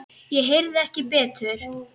Ég heyrði ekki betur.